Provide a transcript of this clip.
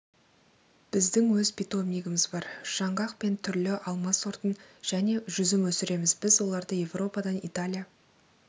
біздің өз питомнигіміз бар жаңғақ пен түрлі алма сортын және жүзім өсіреміз біз оларды еуропадан италия